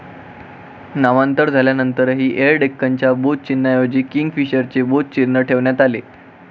नामांतर झाल्यानंतर एयर डेक्कनच्या बोधचिन्हाऐवजी किंगफिशरचे बोध चिन्ह ठेवण्यात आले.